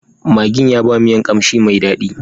Maggin ya ba miyan kamshi mai dadi.